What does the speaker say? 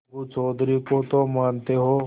अलगू चौधरी को तो मानते हो